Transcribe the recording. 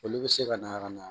Olu bɛ se ka na ka na